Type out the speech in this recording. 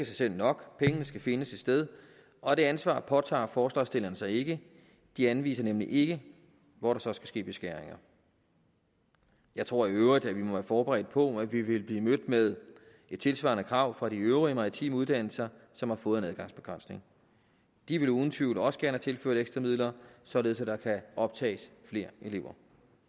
sig selv nok pengene skal findes et sted og det ansvar påtager forslagsstillerne sig ikke de anviser nemlig ikke hvor der så skal ske beskæringer jeg tror i øvrigt vi må være forberedt på at vi ville blive mødt med et tilsvarende krav fra de øvrige maritime uddannelser som har fået en adgangsbegrænsning de vil uden tvivl også gerne have tilført ekstra midler således at der kan optages flere elever